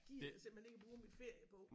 Gider jeg simpelthen ikke at bruge min ferie på